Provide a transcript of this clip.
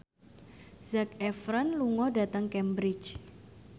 Zac Efron lunga dhateng Cambridge